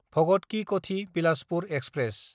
भगत कि कथि–बिलासपुर एक्सप्रेस